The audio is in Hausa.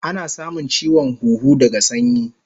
Ana samun chiwon huhu daga sanyi